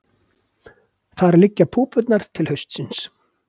Þar liggja púpurnar til haustsins.